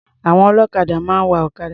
Àwọn ọlọ́kadà máa ń wa ọ̀kadà.